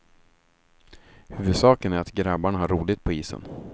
Huvudsaken är att grabbarna har roligt på isen.